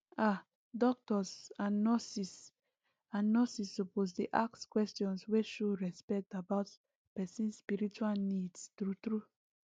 ah doctors and nurses and nurses suppose dey ask questions wey show respect about person spiritual needs true true